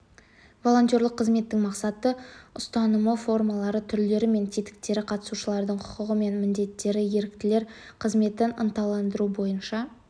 волонтерлік қызметтің мақсаты ұстанымы формалары түрлері мен тетіктері қатысушылардың құқығы мен міндеттері еріктілер қызметін ынталандыру бойынша